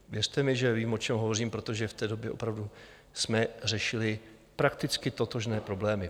Věřte mi, že vím, o čem hovořím, protože v té době opravdu jsme řešili prakticky totožné problémy.